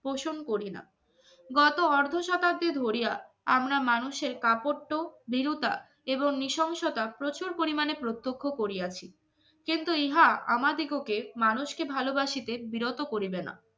cushion করি না আমরা মানুষের কাপড় তো দৃঢ়তা এবং নৃশংসতা প্রচুর পরিমাণে প্রত্যক্ষ করিয়াছি কিন্তু ইহা আমাদেরকে মানুষকে ভালবাসিতে বিরত করি